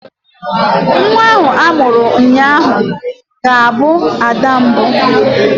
Nwa a mụrụ ụnyaahụ ga-abụ ada mbụ.